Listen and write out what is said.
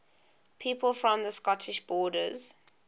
people from the scottish borders